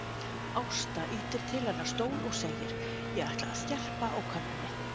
Ásta ýtir til hennar stól og segir: Ég ætla að skerpa á könnunni.